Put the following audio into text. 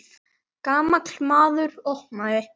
Gamall maður opnaði.